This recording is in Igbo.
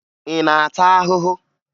Ị na-ata ahụhụ?